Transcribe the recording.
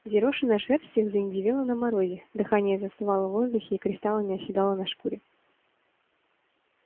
взъерошенная шерсть их заиндевела на морозе дыхание застывало в воздухе и кристаллами оседало на шкуре